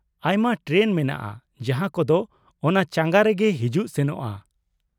ᱟᱭᱢᱟ ᱴᱨᱮᱱ ᱢᱮᱱᱟᱜᱼᱟ ᱡᱟᱦᱟᱸ ᱠᱚᱫᱚ ᱚᱱᱟ ᱪᱟᱸᱜᱟ ᱨᱮᱜᱮ ᱦᱤᱡᱩᱜ ᱥᱮᱱᱚᱜᱼᱟ ᱾